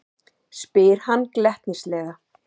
spyr hann glettnislega.